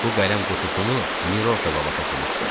Bu qələm qutusunu Miroşa baba toxumuşdu.